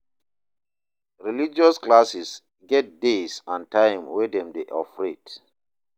Religious classes get days and time wey dem de operate